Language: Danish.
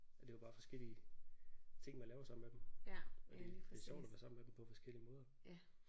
Og det er jo bare forskellige ting man laver sammen med dem. Og det det er sjovt at være sammen med dem på forskellige måder